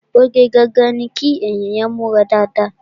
Oge gangan ni kí ènìyàn múra dáadáa